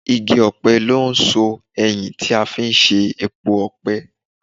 igi ọ̀pẹ ńi o n so eyin tí a fi ń ṣe epo ọ̀pẹ.